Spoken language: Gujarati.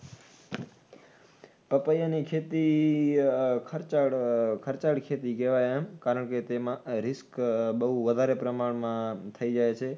પપૈયાંની ખેતી ખર્ચાળ, ખર્ચાળ ખેતી કેવાય એમ કારણકે તેમાં risk વધારે પ્રમાણમાં થઈ જાય છે